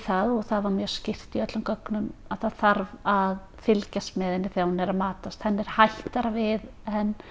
það og það var mjög skýrt í öllum gögnum að það þarf að fylgjast með henni þegar hún er að matast henni er hættara við en